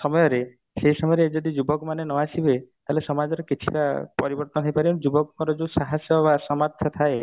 ସମୟରେ ସେଇ ସମୟରେ ଯଦି ଯୁବକ ମାନେ ନ ଆସିବେ ତାହେଲେ ସମାଜରେ କିଛି ଟା ପରିବର୍ତନ ହେଇ ପାରିବନି ଯୁବକଙ୍କର ଯୋଉ ସାହସ ବା ସାମର୍ଥ୍ୟ ଥାଏ